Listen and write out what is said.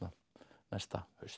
næsta haust